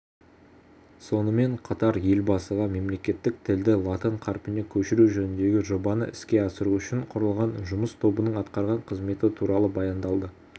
сонымен қатар елбасыға мемлекеттік тілді латын қарпіне көшіру жөніндегі жобаны іске асыру үшін құрылған жұмыс тобының атқарған қызметі туралы баяндалды